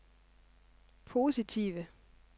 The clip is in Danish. positive